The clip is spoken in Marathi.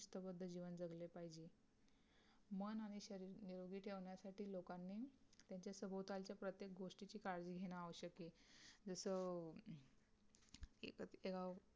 शिस्तबद्ध जीवन जगले पाहिजे मन आणि शरीर निरोगी ठेवण्यासाठी लोकांनी त्यांच्या सभोवतालची प्रत्येक गोष्टीची काळजी घेणं आवश्यक आहे जस